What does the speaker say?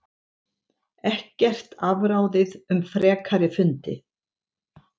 Ekkert afráðið um frekari fundi